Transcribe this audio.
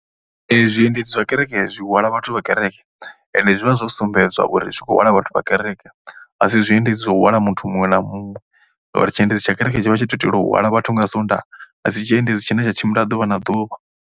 Zwiendedzi zwa kereke zwi hwala vhathu vha kereke ende zwi vha zwo sumbedza uri zwi kho hwala vhathu vha kereke. A si zwiendedzi zwo hwala muthu muṅwe na muṅwe ngauri tshiendedzi tsha kereke tshi vha tsho tou itela u hwala vhathu nga Sondaha. A si tshiendedzi tshine tsha tshimbila ḓuvha na ḓuvha.